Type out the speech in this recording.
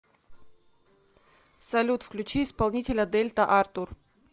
салют включи исполнителя дельта артур